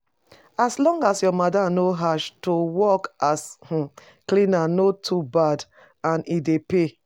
As long as your madam no harsh, to work as um cleaner no to bad and e dey pay